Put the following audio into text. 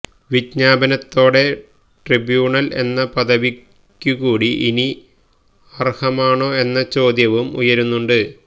വിജ്ഞാപനത്തോടെ tribunal എന്ന പദവിക്കുകൂടി ഇനി ഇവ അര്ഹമാണോ എന്ന ചോദ്യവും ഉയരുന്നുണ്ട്